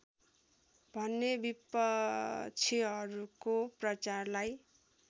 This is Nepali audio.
भन्ने विपक्षीहरूको प्रचारलाई